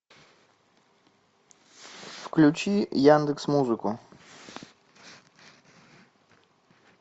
включи яндекс музыку